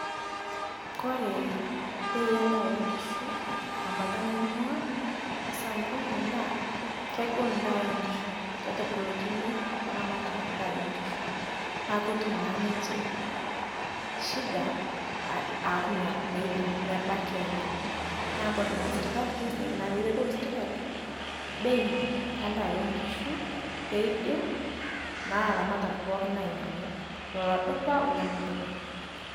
kore bei endaa oo nkishu, tebata nainguaa esamburru naa, kegol edaa oo nkishu, kitagolokini, ilaramatak edaa oo nkishu, neeku ketum naa ninche shida, aaku meidim mebaiki ainyiang'u, neeku ore naa sirkali kishaakino pee itadou sirkali edaa oo nkishu. pee idim naa ilaramatak pookin ainyiangu oldupa olemedupa.